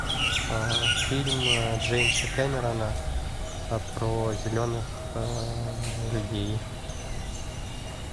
фильм джеймса кемерона про зеленых людей